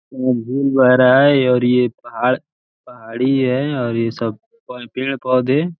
यहां झील बह रहा है और ये पहाड़ पहाड़ी है और ये सब पेड़ पौधे --